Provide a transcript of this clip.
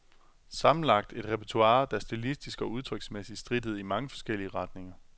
Sammenlagt et repertoire, der stilistisk og udtryksmæssigt strittede i mange forskellige retninger.